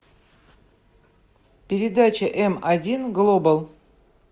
передача м один глобал